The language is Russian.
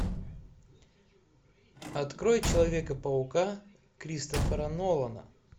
открой человека паука кристофера нолана